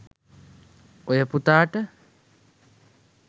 ඔය පුතාට